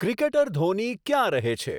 cricketer Dhoni ક્યાં રહે છે